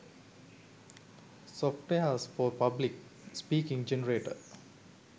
softwares for public speaking generator